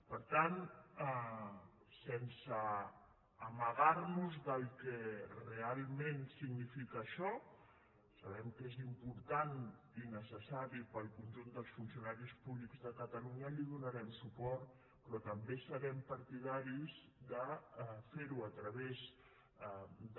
per tant sense amagar·nos del que realment significa això sabem que és important i ne·cessari per al conjunt dels funcionaris públics de ca·talunya hi donarem suport però també serem parti·daris de fer·ho a través de